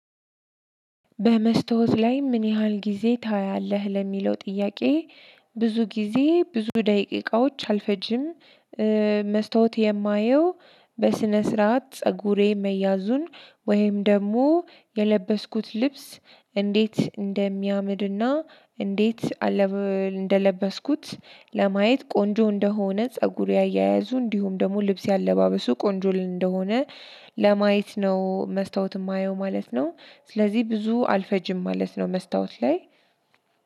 በመስታወት ላይ ምን ያህል ጊዜ ታያለህ ለሚለው ጥያቄ ብዙ ጊዜ ብዙ ደቂቃዎች አልፈጅም። መስታወት የማየው በስነ ስርዓት ፀጉሬ መያዙን ወይም ደግሞ የለበስኩት ልብስ እንዴት እንደሚያምር እና እንዴት እንደለበስኩት ለማየት ቆንጆ እንደሆነ ፀጉሬ አያያዙ እንዲሁም ደግሞ ልብሴ አለባበሱ ቆንጆ እንደሆነ ለማየት ነው መስታወት የማየው ማለት ነው። ስለዚህ ብዙ አልፈጅም ማለት ነው መስታወት ላይ